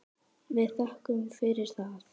Við þökkum fyrir það.